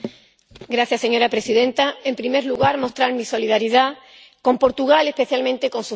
Señora presidenta, en primer lugar quiero mostrar mi solidaridad con Portugal, especialmente con sus víctimas